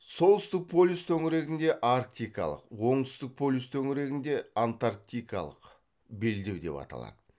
солтүстік полюс төңірегінді арктикалық оңтүстік полюс төңірегінде антарктикалык белдеу деп аталады